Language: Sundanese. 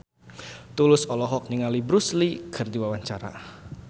Tulus olohok ningali Bruce Lee keur diwawancara